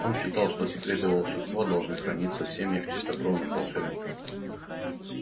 он считал что секреты волшебства должны храниться в семьях чистокровных волшебников